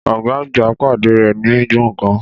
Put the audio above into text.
Ọ̀gá àgbà pàdé rẹ̀ ní gbọ̀ngàn